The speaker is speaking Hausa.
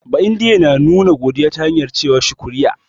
Ba'indiye na nuna godiya ta hanyar ce wa "shukriya".